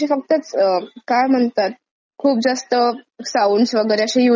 खूप जास्त साउंड्स वगैरे अशे युज करून त्याला काही जस मिनिंग फुल वाटत नाहीत.